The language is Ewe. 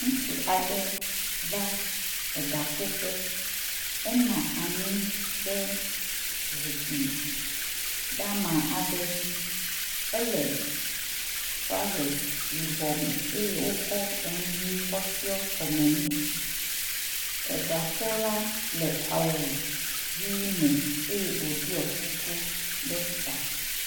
Ŋutsu aɖe va eɖa ko ƒe. Enɔ anyi ɖe zikpui dama aɖe dzi ele trɔses yibɔ me eye wokɔ enu ʋi kɔ tsiɔ kɔme ne. eɖakola le awu ʋi me eye woɖɔ kuku ɖe ta.